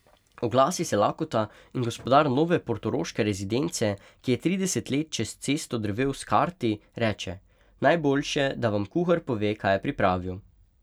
Oglasi se lakota in gospodar nove portoroške rezidence, ki je trideset let čez cesto drvel s karti, reče: 'Najboljše, da vam kuhar pove, kaj je pripravil.